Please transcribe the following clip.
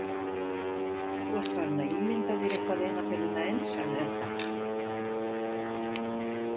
Þú ert farinn að ímynda þér eitthvað eina ferðina enn, sagði Edda.